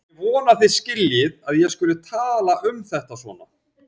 Ég vona að þið skiljið að ég skuli tala um þetta svona.